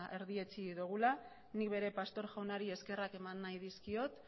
erdietsi dugula nik ere pastor jaunari eskerrak eman nahi dizkiot